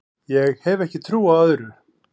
Ég hef ekki trú á öðru